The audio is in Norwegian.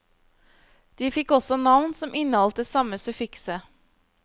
De fikk også navn som inneholdt det samme suffikset.